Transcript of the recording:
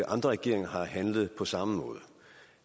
andre regeringer har handlet på samme måde